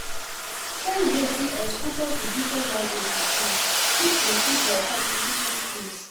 Shey you know sey exposure to different languages um fit improve your communication skills?